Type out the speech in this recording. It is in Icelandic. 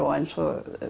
eins og